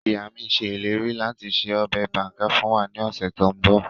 Ìya mi se ileri lati se ọbẹ banga fun wa ni ọsẹ to nbọ